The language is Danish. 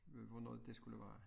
Øh hvornår det skulle være